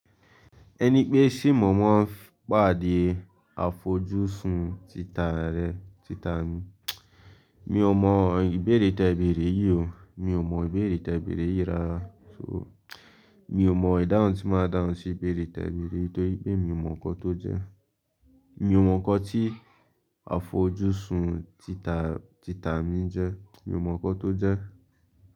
Ẹni pé ṣì mo maa n pàdé àfojúsùn títà rẹ̀, títà mi. Mi ò mọ ìbéèrè tẹ̀e beerè yìí o, mi ò mọ ìbéèrè tẹ̀e beerè yìí rárá. So, mi ò mọ ìdáhùn tí máa dáhùn sí ìbéèrè teẹ̀ beẹ̀rè yìí nítorí pé mi ò mọ nǹkan tó jẹ́. Mi ò mọ nǹkan tí àfojúsùn títà, títà mi jẹ́. Mi ò mọ nǹkan tó jẹ́